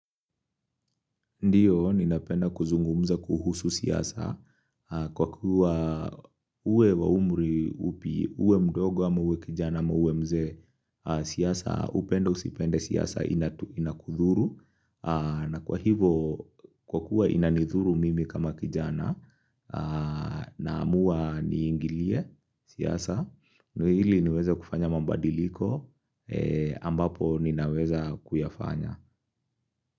Ndiyo, ninapenda kuzungumza kuhusu siasa kwa kuwa uwe wa umri upi, uwe mdogo ama uwe kijana ama uwe mzee siasa, upende usipende siasa inakudhuru. Na kwa hivo, kwa kuwa inanidhuru mimi kama kijana naamuwa niingilie siasa, ndo ili niweze kufanya mabadiliko ambapo ninaweza kuyafanya.